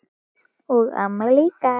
og ömmu líka.